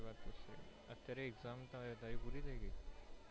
અત્યારે exam ચાલે તારી પૂરી થઇ ગઈ.